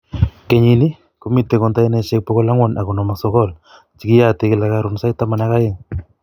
Kenyiini, komiite konteinaishek 459, chekeyaate kila kaaroon saait tamaan ak aeng'